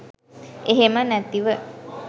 එහෙම නැතිව